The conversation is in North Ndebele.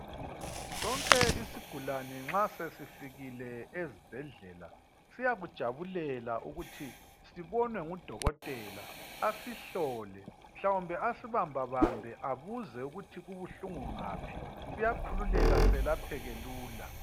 sonke isigulane nxa sesifikile esibhedlela siyakujabulela ukuthi sibonwe ngu dokotela asihlole mhlawumbe asibambabambe abuze ukuthi kubuhlungu ngaphi siyakhululeka selapheke kalula